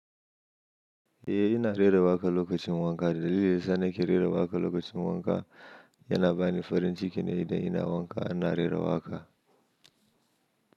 Eh, ina rera waƙa lokacin wanka. Dalilin sa ne yake rera waƙa lokacin wanka yana bani farin ciki ne idan ina wanka, ina rera waƙa.